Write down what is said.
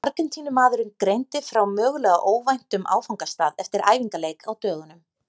Argentínumaðurinn greindi frá mögulega óvæntum áfangastað eftir æfingaleik á dögunum.